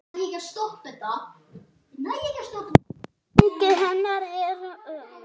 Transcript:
Ég man og ég sakna.